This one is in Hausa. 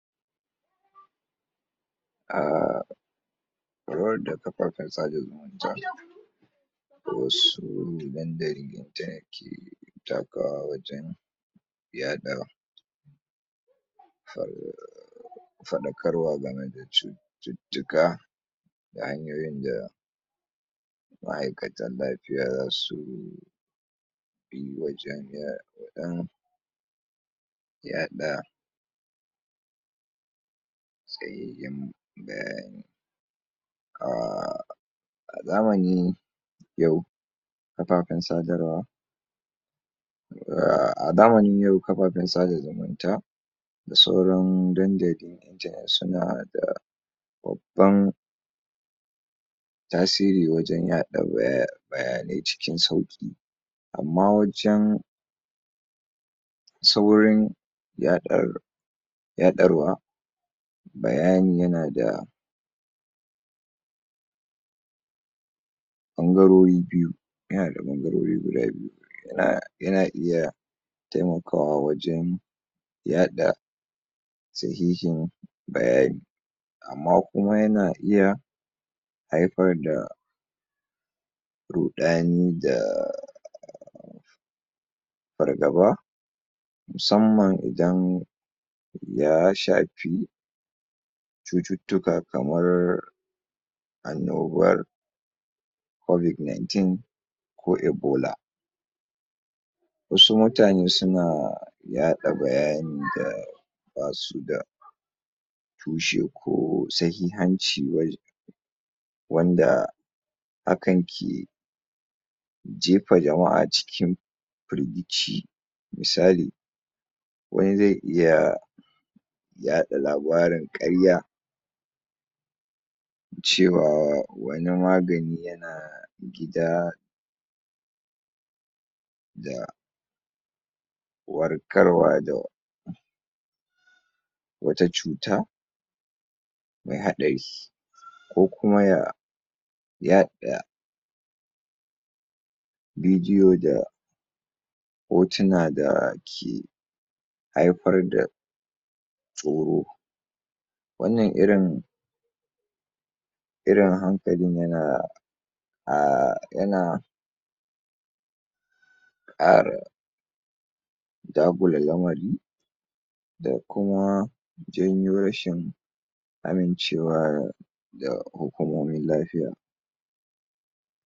A faruwar da kafafen sada zumunta wasu mahimman dalilan da yake takawa wajen yaɗa faruwar faɗakarwa game da cututtuka da hanyoyin da ma'aikatan lafiya zasu yi wa jama'a wajen yaɗa tsayayyen bayani a a zamani yau kafafen sadarwa a zamanin yau kafafen sada zumunta da sauran dandali suna da babban tasiri wajen yaɗa bayanai cikin sauƙi amma wajen saurin yaɗa yaɗarwa bayani yana da ɓangarori biyu yana da ɓangarori guda biyu yana, yana iya taimakawa wajen yaɗa sahihin bayani amma kuma yana iya haifar da ruɗani da fargaba musamman idan ya shafi cututtuka kamar annobar covid-nineteen ko ebola wasu mutane suna yaɗa bayani da basu da tushe ko sahihanci waj wanda akan ke jefa jama'a cikin firgici misali wani zai iya yaɗa labarin ƙarya cewa wani magani yana gida da warkarwa da wata cuta mai haɗari ko kuma ya yaɗa bidiyo da hotuna da ke haifar da tsoro wannan irin irin hankalin yana a yana a dagula lamari da kuma janyo rashin ƙarancewa da hukumomin lafiya.